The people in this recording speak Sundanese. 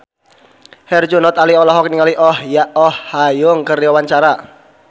Herjunot Ali olohok ningali Oh Ha Young keur diwawancara